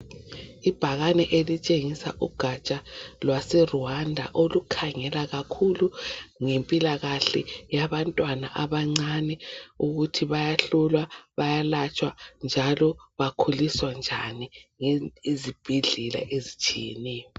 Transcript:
Ibhakane elitshengisa ugatsha lwaseRwanda olukhangelwa kakhulu ngempilakahle yabantwana abancane ukuthi bayahlolwa bayalatshwa njalo bakhuliswa njani ezibhedlela ezitshiyeneyo.